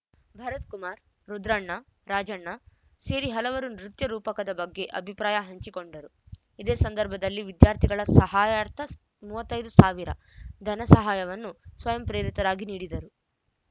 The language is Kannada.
ಭರತ್‌ಕುಮಾರ್‌ ರುದ್ರಣ್ಣ ರಾಜಣ್ಣ ಸೇರಿ ಹಲವರು ನೃತ್ಯ ರೂಪಕದ ಬಗ್ಗೆ ಅಭಿಪ್ರಾಯ ಹಂಚಿಕೊಂಡರು ಇದೆ ಸಂದರ್ಭದಲ್ಲಿ ವಿದ್ಯಾರ್ಥಿಗಳ ಸಹಾಯಾರ್ಥ ಮೂವತ್ತ್ ಐದು ಸಾವಿರ ಧನಸಹಾಯವನ್ನು ಸ್ವಯಂ ಪ್ರೇರಿತರಾಗಿ ನೀಡಿದರು